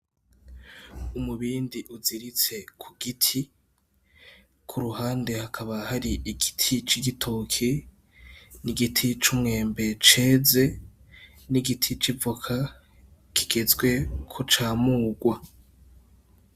Umubindi uziritse ku giti, ku ruhande hakaba hari igiti c'igitoke n' igiti c'umwembe ceze n'igiti c'ivoka kigezwe ko camurwa.